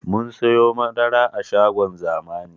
Mun siyo madara a shagon zamani